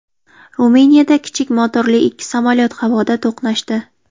Ruminiyada kichik motorli ikki samolyot havoda to‘qnashdi.